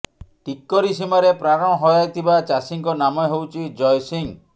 ଟିକରି ସୀମାରେ ପ୍ରାଣ ହରାଇଥିବା ଚାଷୀଙ୍କ ନାମ ହେଉଛି ଜୟ ସିଂହ